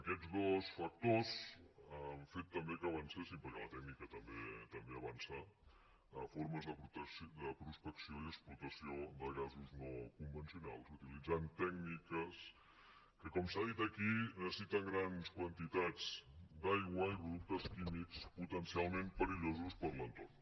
aquests dos factors han fet també que avancessin perquè la tècnica també avança formes de prospecció i explotació de gasos no convencionals utilitzant tècniques que com s’ha dit aquí necessiten grans quantitats d’aigua i productes químics potencialment perillosos per a l’entorn